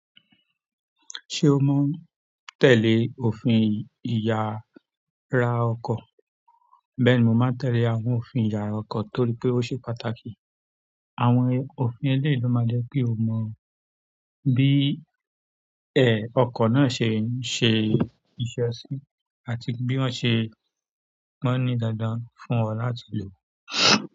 Ṣé o máa ń tẹ̀lé òfin ìyara ọkọ̀? Mo maa n tele òfin iyara oko torí pe o se pàtàkì. Àwọn òfin ẹlẹ́yìí lo máa jẹ́ ki o mọ bí ẹ̀ ọkọ̀ náà ṣe ń ṣe ìṣesí àti bí wọ́n ṣe máa ń ní dandan fún ọ láti lò.